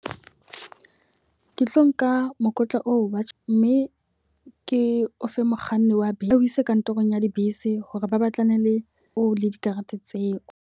Ke tlo nka mokotla oo wa tjhe mme ke o fe mokganni wa bese a o ise kantorong ya dibese hore ba batlane le o le dikarete tseo.